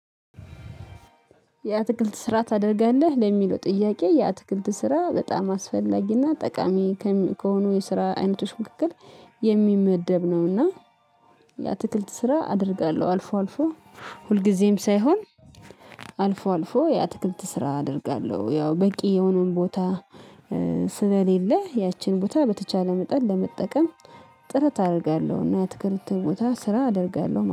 የአትክልት ስራ ታደርጋለህ ለሚለው ጥያቄ የአትክልት ስራ በጣም አስፈላጊና ጠቃሚ ከሆኑ የስራ አይነቶች ምክክር የሚመደብ ነው። እና የአትክልት ስራ አደርጋለሁ አልፎ አልፎ ሁልጊዜም ሳይሆን አልፎ አልፎ ያትክልት ስራ አደርጋለሁ። ያው በቂ የሆነውን ቦታ ስለሌለ ያቺን ቦታ በተቻለ መጠን ለመጠቀም ጥረት አደርጋለሁና። የአትክልት ቦታ ስራ አደርጋለሁ